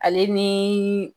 Ale ni